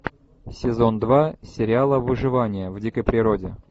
сезон два сериала выживание в дикой природе